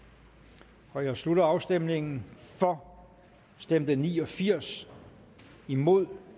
der jeg slutter afstemningen for stemte ni og firs imod